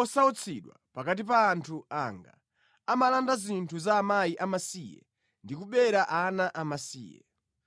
osautsidwa pakati pa anthu anga, amalanda zinthu za akazi amasiye ndi kubera ana amasiye.